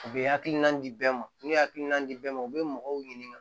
U bɛ hakilina di bɛɛ ma n'u ye hakilina di bɛɛ ma u bɛ mɔgɔw ɲininka